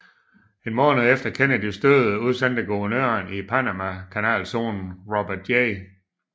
En måned efter Kennedys død udstedte guvernøren i Panamakanalzonen Robert J